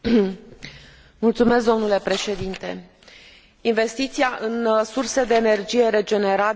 Investiția în surse de energie regenerabilă este vitală, acum mai mult decât niciodată.